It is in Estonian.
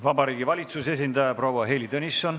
Vabariigi Valitsuse esindaja proua Heili Tõnisson.